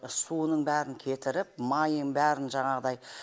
суының бәрін кетіріп майын бәрін жаңағыдай